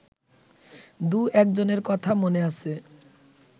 দু-একজনের কথা মনে আছে